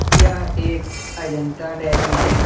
यह एक अजंता डेरी है।